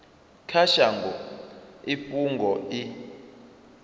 kha shango i fhungo i